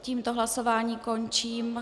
Tím hlasování končím.